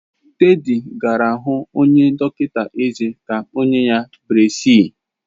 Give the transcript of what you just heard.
Teddy gara hu onye dọkịta ezé ka o nye ya breziis.